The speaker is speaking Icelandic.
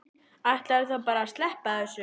Ætlarðu þá bara að sleppa þessu?